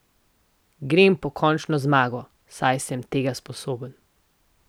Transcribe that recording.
Grem po končno zmago, saj sem tega sposoben.